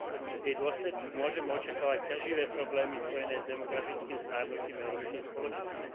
V jej dôsledku môžeme očakávať ťaživé problémy spojené s demografickým starnutím európskej spoločnosti.